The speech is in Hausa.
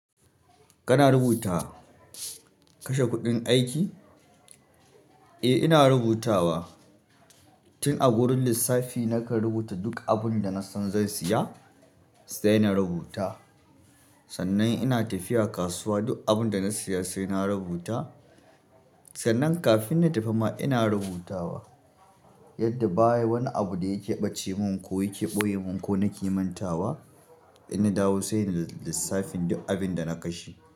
Kana rubuta kashe kuɗin aiki? Eh, ina rubutawa. Tin a wurin lissafi na kan rubuta duk abun da na san zan saya sai na rubuta. Sannan ina tafiya kasuwa duk abun da na siya sai na rubuta. Sannan kafin na tafi ma ina rubutawa yadda ba wani abu da ya ƙeɓace mun ko ya ƙeɓoye mun ko na ki mantawa, inna dawo sai na lissafin duk abun da na kashe.